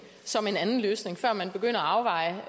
som den anden løsning før man begynder at afveje